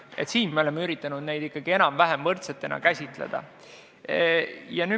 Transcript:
Selles osas me oleme üritanud neid ikkagi enam-vähem võrdselt käsitleda.